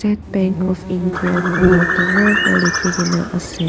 Bank of India koina dangor para likhi kina ase.